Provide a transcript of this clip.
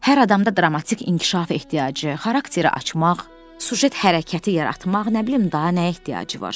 Hər adamda dramatik inkişafa ehtiyacı, xarakteri açmaq, süjet hərəkəti yaratmaq, nə bilim daha nəyə ehtiyacı var.